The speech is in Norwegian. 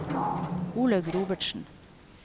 Olaug Robertsen